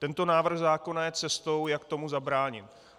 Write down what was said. Tento návrh zákona je cestou, jak tomu zabránit.